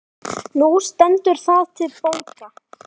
Nú stendur það til bóta.